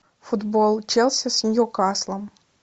футбол челси с ньюкаслом